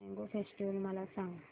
mango festival मला सांग